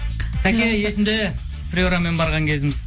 сәке есімде приорамен барған кезіміз